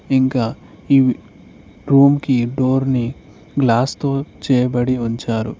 ఇంకా ఈ రూమ్ కి డోర్ ని గ్లాస్ తో చేయబడి ఉంచారు.